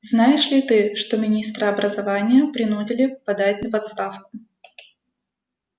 знаешь ли ты что министра образования принудили подать в отставку